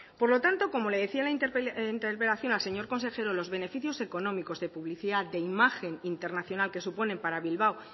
por lo tanto como le decía en la interpelación al señor consejero los beneficios económicos de publicidad de imagen internacional que suponen para bilbao